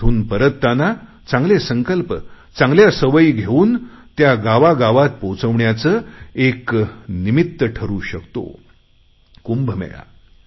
तिथून परतताना चांगले संकल्प चांगल्या सवयी घेऊन त्या गावागावात पोचवण्याचे एक निमित्त ठरू शकतो कुंभमेळा